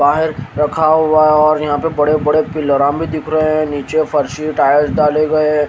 बाहर रखा हुआ और यहां पर बड़े-बड़े पिल्लाराम भी दिख रहे हैं। नीचे फर्शी टाइल्स डाले गए हैं।